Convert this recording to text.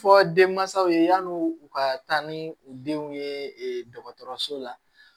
Fɔ denmansaw ye yan'u u ka taa ni u denw ye dɔgɔtɔrɔso la